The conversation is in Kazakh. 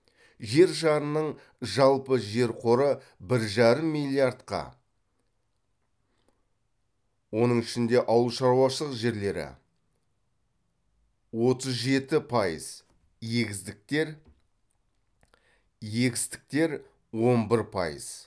жер шарының жалпы жер қоры бір жарым миллиардқа оның ішінде ауыл шаруашылық жерлері отыз жеті пайыз егістіктер он бір пайыз